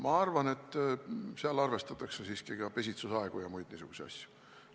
Ma arvan, et seal arvestatakse siiski ka pesitsusaegu ja muid niisuguseid asju.